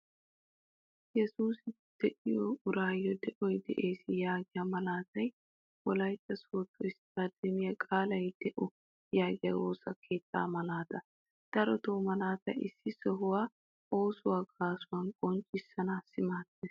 Yesusi de'iyo urayo de'oy de'ees yaagiya malatay wolaytta sodo istademiya qaalay de'o yaagiyaa woosa keettaa malaata. Darotto malaatay issi sohuwaa, oosuwaa gaasuwa qonccissanawu maadees.